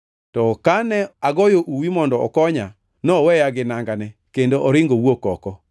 To ka ne agoyo uwi mondo okonya, noweya gi nangane, kendo oringo owuok oko.”